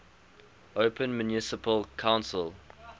open municipal council